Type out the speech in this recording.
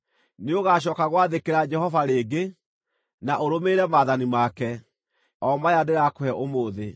Nĩũgacooka gwathĩkĩra Jehova rĩngĩ, na ũrũmĩrĩre maathani make, o maya ndĩrakũhe ũmũthĩ.